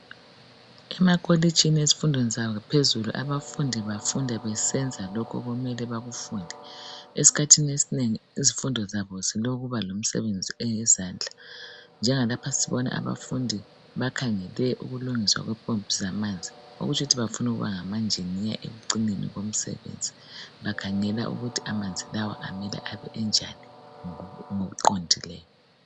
emakolitshini ezifundweni zaphezulu abafundi bafunda besenza lokho okumele bakufunde esikhathini esinengi izifundo zabo zilokuba lomsebenzi eyezandla njengalapha sibona abafundi bakhangele ukulungiswa kwempompi zamanzi okutsho ukuthi bafuna ukuba ngama njinela ekucineni komsebenzi bakhangela ukuthi amanzi lawa amele abe enjani ngokuqondileyo